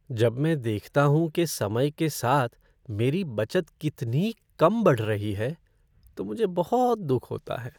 जब मैं देखता हूँ कि समय के साथ मेरी बचत कितनी कम बढ़ रही है तो मुझे बहुत दुख होता है।